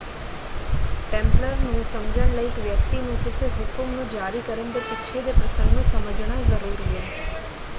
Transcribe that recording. Templar ਨੂੰ ਸਮਝਣ ਲਈ ਇੱਕ ਵਿਅਕਤੀ ਨੂੰ ਕਿਸੇ ਹੁਕਮ ਨੂੰ ਜਾਰੀ ਕਰਨ ਦੇ ਪਿੱਛੇ ਦੇ ਪ੍ਰਸੰਗ ਨੂੰ ਸਮਝਣਾ ਜ਼ਰੂਰੀ ਹੈ।